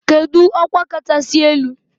Kedu ọkwa kachasị elu?